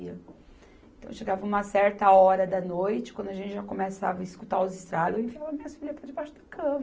Então, chegava uma certa hora da noite, quando a gente já começava a escutar os estalos, eu enfiava minhas filhas, para debaixo da cama.